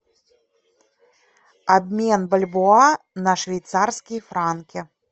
обмен бальбоа на швейцарские франки